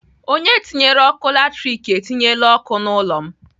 Onye tinyere ọkụ latrik etinyela ọkụ n'ụlọ m.